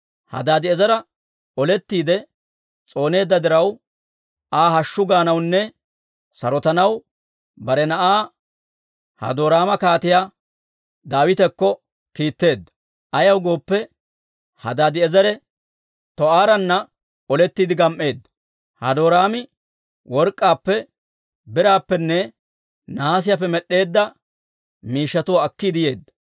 Hadaadi'eezera olettiide s'ooneedda diraw, Aa hashshu gaanawunne sarotanaw bare na'aa Hadoraama Kaatiyaa Daawitakko kiitteedda. Ayaw gooppe, Hadaadi'eezere Too'aara olettiide gam"eedda. Hadoraami work'k'aappe, biraappenne nahaasiyaappe med'd'eedda miishshatuwaa akkiide yeedda.